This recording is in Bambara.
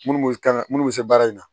Munnu be kan munnu be se baara in na